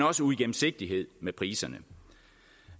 også uigennemsigtighed i priserne